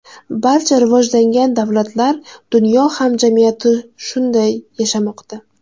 Barcha rivojlangan davlatlar, dunyo hamjamiyati shunday yashamoqda.